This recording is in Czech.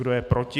Kdo je proti?